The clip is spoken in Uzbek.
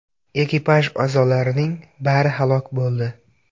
Ekipaj a’zolarining bari halok bo‘ldi.